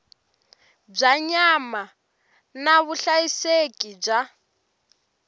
bya nyama na vuhlayiseki bya